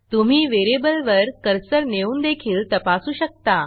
तुम्ही व्हेरिएबलवर कर्सर नेऊन देखील तपासू शकता